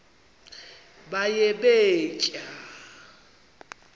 baye bee tyaa